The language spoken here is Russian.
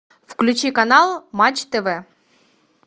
включи канал матч тв